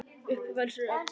Upphaf alls eru börnin.